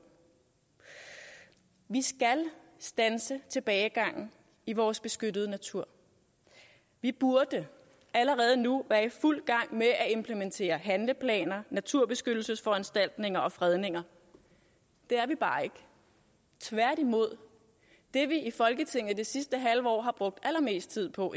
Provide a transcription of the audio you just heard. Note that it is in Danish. vi skal standse tilbagegangen i vores beskyttede natur vi burde allerede nu være i fuld gang med at implementere handleplaner naturbeskyttelsesforanstaltninger og fredninger der er vi bare ikke tværtimod det vi i folketinget det sidste halve år har brugt allermest tid på